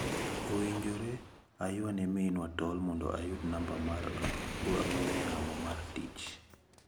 Owinjore ayua ne minwa tol mondo ayud namba mar ang'ue yamo mare mar tich.